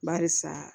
Barisa